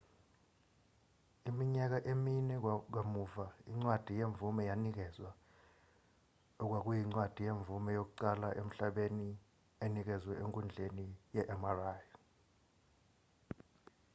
iminyaka emine kamuva incwadi yemvume yanikezwa okwakuyincwadi yemvume yokuqala emhlabeni enikezwe enkundleni yemri